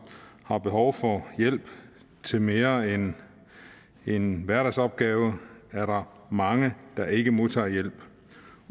har behov for hjælp til mere end hverdagsopgaver er der mange der ikke modtager hjælp